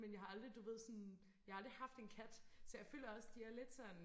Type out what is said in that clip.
men jeg har aldrig du ved sådan jeg har aldrig haft en kat så føler også de er lidt sådan